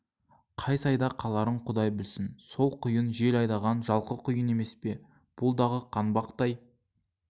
қай сайда қаларын құдай білсін сол құйын жел айдаған жалқы құйын емес пе бұл дағы қаңбақтай